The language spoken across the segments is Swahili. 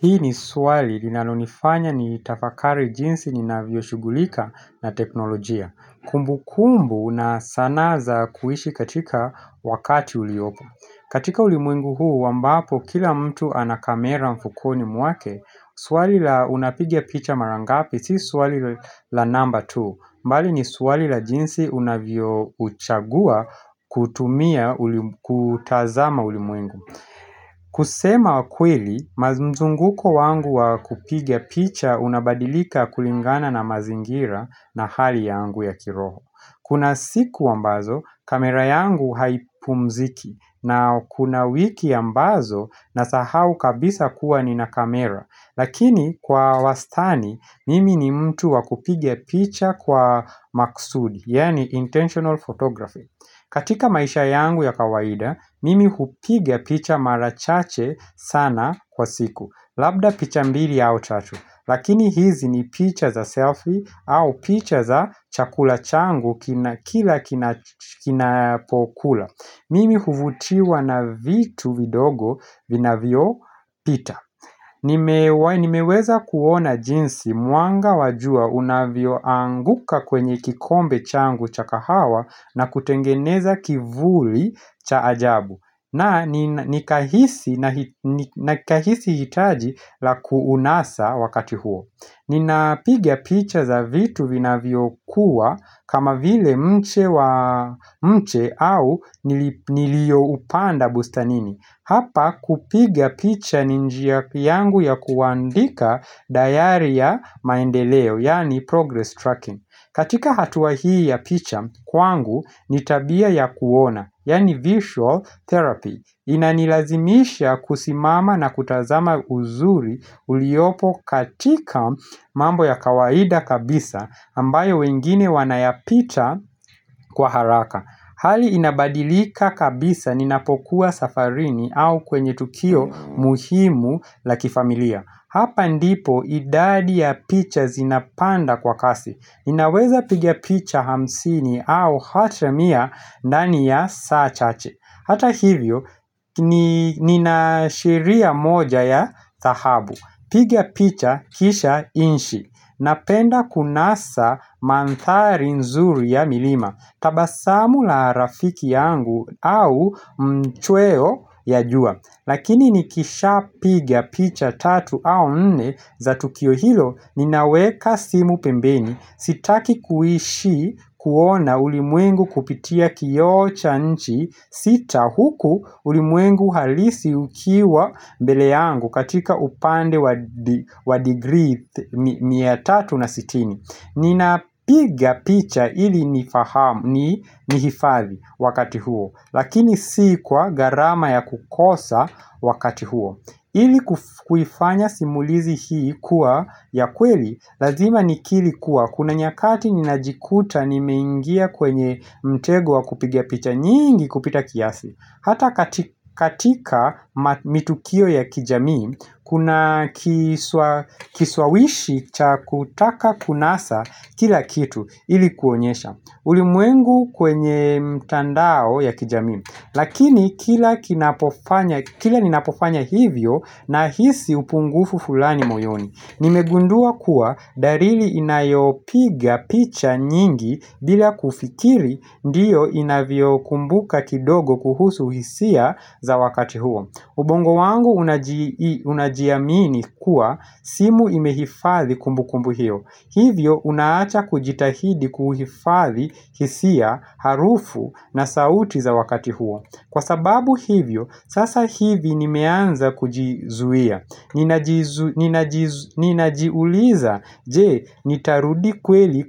Hii ni swali linalonifanya nitafakari jinsi ninavyo shugulika na teknolojia Kumbu kumbu na sanaa za kuishi katika wakati uliopo katika ulimwengu huu ambapo kila mtu ana kamera mfukoni mwake Swali la unapiga picha mara ngapi si swali la namba tu bali ni swali la jinsi unavyo uchagua kutumia kutazama ulimwengu kusema kweli, mzunguko wangu wa kupiga picha unabadilika kulingana na mazingira na hali yangu ya kiroho Kuna siku ambazo, kamera yangu haipumziki na kuna wiki ambazo, nasahau kabisa kuwa nina kamera Lakini kwa wastani, mimi ni mtu wa kupiga picha kwa maksudi, yani intentional photography katika maisha yangu ya kawaida, mimi hupiga picha mara chache sana kwa siku. Labda picha mbili au tatu. Lakini hizi ni picha za selfie au picha za chakula changu kila kinapokula. Mimi huvutiwa na vitu vidogo vinavyopita. Nimeweza kuona jinsi mwanga wa jua unavyo anguka kwenye kikombe changu cha kahawa na kutengeneza kivuli cha ajabu na nikahisi hitaji la kuunasa wakati huo Ninapiga picha za vitu vinavyo kuwa kama vile mche nilio upanda bustanini Hapa kupiga picha ni njia yangu ya kuandika dayari ya maendeleo, yani progress tracking. Katika hatuaa hii ya picha, kwangu ni tabia ya kuona, yani visual therapy. Inanilazimisha kusimama na kutazama uzuri uliopo katika mambo ya kawaida kabisa ambayo wengine wanayapita kwa haraka. Hali inabadilika kabisa ninapokuwa safarini au kwenye tukio muhimu la kifamilia Hapa ndipo idadi ya picha zinapanda kwa kasi ninaweza piga picha hamsini au hata mia ndani ya saa chache. Hata hivyo, nina sheria moja ya dhahabu. Piga picha kisha nchi. Napenda kunasa manthari nzuri ya milima, tabasamu la rafiki yangu au mchweo ya jua Lakini nikisha piga picha tatu au nne za tukio hilo ninaweka simu pembeni. Sitaki kuishi kuona ulimwengu kupitia kio cha nchi sita huku ulimwengu halisi ukiwa mbele yangu katika upande wa degree mia tatu na sitini Nina piga picha ili nihifadhi wakati huo. Lakini si kwa gharama ya kukosa wakati huo ili kuifanya simulizi hii kuwa ya kweli Lazima nikiri kuwa Kuna nyakati ninajikuta nimeingia kwenye mtego wa kupiga picha nyingi kupita kiasi Hata katika matukio ya kijamii Kuna kishawishi cha kutaka kunasa kila kitu ili kuonyesha ulimwengu kwenye mtandao ya kijami. Lakini kila ninapofanya hivyo nahisi upungufu fulani moyoni. Nimegundua kuwa dalili inayopiga picha nyingi bila kufikiri ndiyo inavyo kumbuka kidogo kuhusu hisia za wakati huo. Ubongo wangu unajiamini kuwa simu imehifathi kumbu kumbu hiyo Hivyo unaacha kujitahidi kuhifadhi hisia, harufu na sauti za wakati huo Kwa sababu hiyo, sasa hivi nimeanza kujizuia Ninajiuliza, jee, nitarudi kweli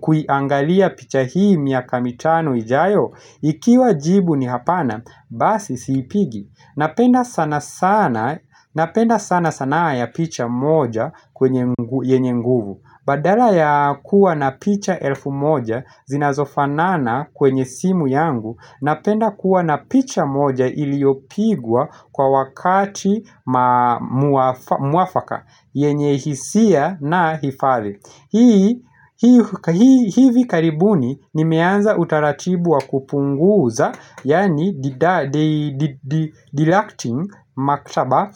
kuiangalia picha hii miaka mitano ijayo Ikiwa jibu ni hapana, basi siipigi Napenda sana sanaa ya picha moja yeenye nguvu Badala ya kuwa na picha elfu moja zinazofanana kwenye simu yangu Napenda kuwa na picha moja iliopigwa kwa wakati mwafaka yenye hisia na hifadhi. Hivi karibuni nimeanza utarachibu wa kupunguza Yani deducting maktaba.